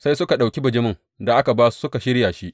Sai suka ɗauki bijimin da aka ba su suka shirya shi.